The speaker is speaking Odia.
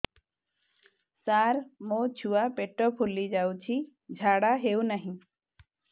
ସାର ମୋ ଛୁଆ ପେଟ ଫୁଲି ଯାଉଛି ଝାଡ଼ା ହେଉନାହିଁ